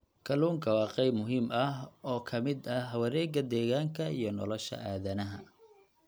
Kalluunku waa qayb muhiim ah oo ka mid ah wareegga deegaanka iyo nolosha aadanaha.